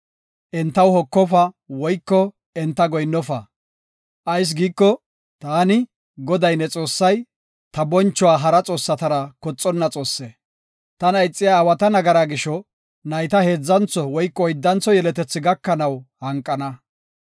Entaw hokofa woyko enta goyinnofa. Ayis giiko, taani, Goday ne Xoossay, ta bonchuwa hara xoossatara koxonna Xoosse. Tana ixiya aawata nagaraa gisho nayta heedzantho woyko oyddantho yeletethi gakanaw hanqana.